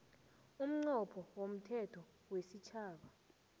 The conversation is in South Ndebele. umnqopho womthetho wesitjhaba